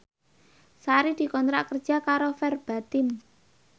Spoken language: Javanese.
Sari dikontrak kerja karo Verbatim